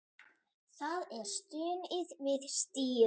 Það er stunið við stýrið.